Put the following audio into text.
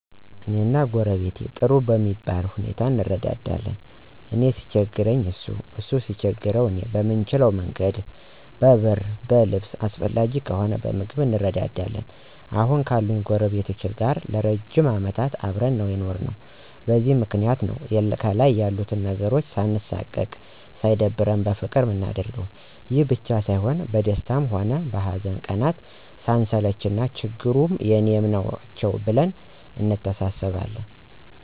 እኔና ጎረቤቴ ጥሩ በሚባል ሁኔታ እንረዳዳለን። እኔ ሲቸግረኝ እሱ እሱ ሲቸግረው እኔ በምንችለ መንገድ በብር በልብስ አስፈላጊ ከሆነ በምግብም እንረዳዳለን። አሁን ካሉኝ ጎረቤቶቼ ጋር ለ ረጅም አመታት አብረን ነው የኖርነው። በዚህም ምክንያት ነው ከልይ ያሉት ነገሮች ሳንሳቀቅ አና ሳይደብረን በፍቅር ምናደርገው። ይሄ ብቻ ሳይሆን በደስታ ሆነ በሀዘን ቀናት ስንሰለች ችግሮቹ የኔም ናቸው ብለን እንተሳሰባለን።